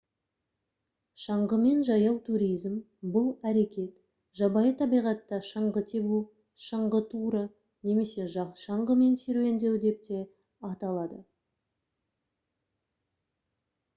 шаңғымен жаяу туризм бұл әрекет жабайы табиғатта шаңғы тебу шаңғы туры немесе шаңғымен серуендеу деп те аталады